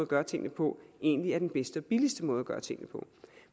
gøre tingene på egentlig er den bedste og billigste måde at gøre tingene på